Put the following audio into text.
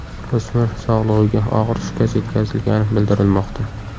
O‘smir sog‘ligiga og‘ir shikast yetkazilgani bildirilmoqda.